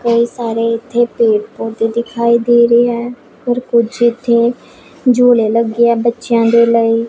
ਕਈ ਸਾਰੇ ਇੱਥੇ ਪੇੜ ਪੌਦੇ ਦਿਖਾਈ ਦੇ ਰਹੇ ਹੈ ਔਰ ਕੁਛ ਇੱਥੇ ਝੂਲੇ ਲੱਗੇ ਹੈ ਬੱਚਿਆਂ ਦੇ ਲਈ।